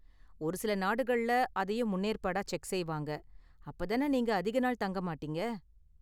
ஒரு சில நாடுகள்ல அதையும் முன்னேற்பாடா செக் செய்வாங்க, அப்ப தான நீங்க அதிக நாள் தங்க மாட்டீங்க.